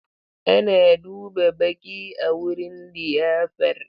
Ana duba baƙi a wurin liyafar.